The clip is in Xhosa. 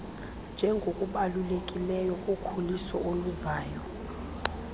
njengokubalulekileyo kukhuliso oluzayo